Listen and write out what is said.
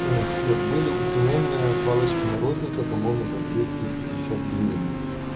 свет были уценённые палочки морозника по-моему за двести пятьдесят гривен